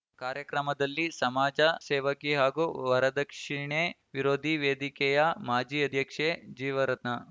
ಕಾರ್ಯಕ್ರಮದಲ್ಲಿ ಸಮಾಜ ಸೇವಕಿ ಹಾಗೂ ವರದಕ್ಷಿಣೆ ವಿರೋಧಿ ವೇದಿಕೆಯ ಮಾಜಿ ಅಧ್ಯಕ್ಷೆ ಜೀವರತ್ನ